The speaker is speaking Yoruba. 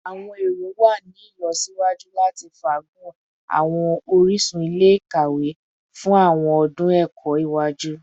Awọn ero wa ni ilọsiwaju lati faagun awọn orisun ile-ikawe fun awọn ọdun ẹkọ iwaju